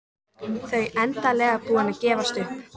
Þau endanlega búin að gefast upp.